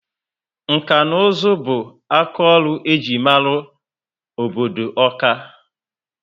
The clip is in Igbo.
Nka na uzu bu aka ọrụ ejiri mara obodo Ọka ( Awka)